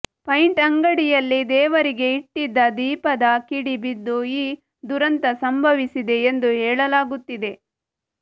paint ಅಂಗಡಿಯಲ್ಲಿ ದೇವರಿಗೆ ಇಟ್ಟಿದ್ದ ದೀಪದ ಕಿಡಿ ಬಿದ್ದು ಈ ದುರಂತ ಸಂಭವಿಸಿದೆ ಎಂದು ಹೇಳಾಗುತ್ತಿದೆ